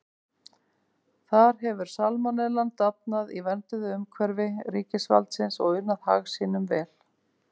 Þar hefur salmonellan dafnað í vernduðu umhverfi ríkisvaldsins og unað hag sínum vel.